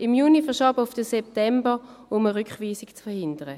Im Juni wurde er auf den September verschoben, um eine Rückweisung zu verhindern.